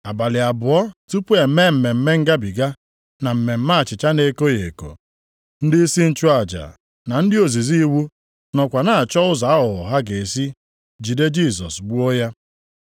Abalị abụọ tupu e mee Mmemme Ngabiga + 14:1 Mmemme ndị Izrel ji echeta ọpụpụ ha site nʼala Ijipt. na mmemme achịcha na-ekoghị eko, ndịisi nchụaja na ndị ozizi iwu nọkwa na-achọ ụzọ aghụghọ ha ga-esi jide Jisọs gbuo ya.